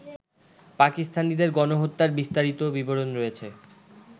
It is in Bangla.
পাকিস্তানিদের গণহত্যার বিস্তারিত বিবরণ রয়েছে